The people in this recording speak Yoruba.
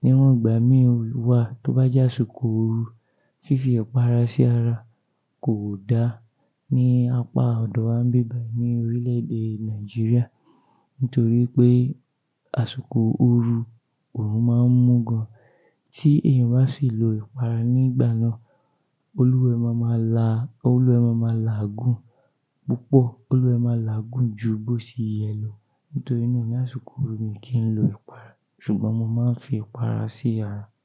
Níwọn ìgbà mí wa, tó bá jásiko òru, fífi ipàrà sí ara kò da ní apá ọ̀dọ́ wa ń bibàyi ní orílẹ̀èdè Nàìjíríà nítorí pé àsùkò òru òrùn máa ń mú gan. Tí èèyàn bá sì lo ipàrà nígbà náà, olúwẹ́ máa ma la, olúwẹ́ máa ma la àgún púpọ̀, olúwẹ́ máa la àgún ju bó ṣe yẹ lọ. Nítorí náà ní àsikò òru mi kì í lọ ipàrà, ṣùgbọ́n mo máa ń fi ipàrà sí ara.